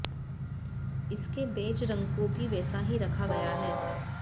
इसके बेज रंग को भी वैसा ही रखा गया है